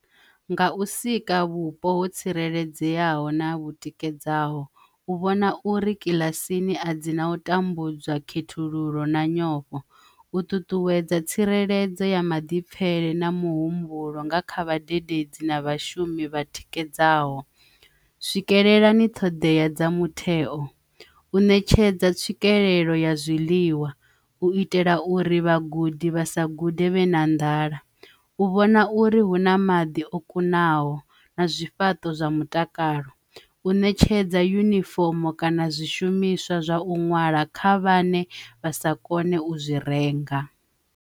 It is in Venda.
Nga u sika vhupo ho tsireledzeaho na vhu tikedzaho u vhona uri kiḽasini a dzi na u tambudzwa khethululo na nyofho, u ṱuṱuwedza tsireledzo ya maḓipfhele na muhumbulo nga kha vhadededzi na vhashumi vha tikedzaho swikelela ni ṱhoḓea dza mutheo u ṋetshedza tswikelelo ya zwiḽiwa u itela uri vhagudi vha sa gude vhe na nḓala, u vhona uri hu na maḓi o kunaho na zwifhaṱo zwa mutakalo, u ṋetshedza yunifomo kana zwishumiswa zwa u ṅwala kha vhane vha sa kone u zwi renga.